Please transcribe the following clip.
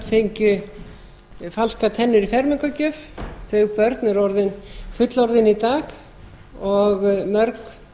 fengju falskar tennur í fermingargjöf þau börn eru orðin fullorðin í dag og